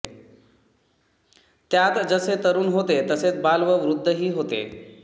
त्यात जसे तरून होते तसेच बाल व वृद्ध ही होते